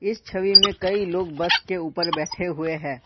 इस छवि में कई लोग बस के ऊपर बैठे हुए हैं।